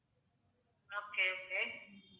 okay okay